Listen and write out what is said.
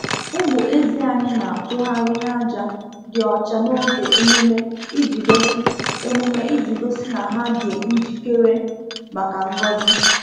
Ụmụ ezi anyị na-atụgharị n’aja dị ọcha n’oge emume iji gosi emume iji gosi na ha dị njikere maka ngọzi.